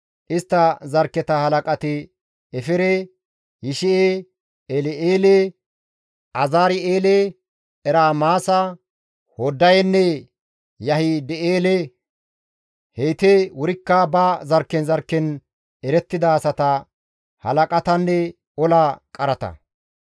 Istta zarkketa halaqati Efere, Yishi7e, El7eele, Azari7eele, Ermaasa, Hoddayenne Yahida7eele; heyti wurikka ba zarkken zarkken erettida asata, halaqatanne ola qarata.